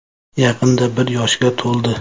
Yaqinda bir yoshga to‘ldi.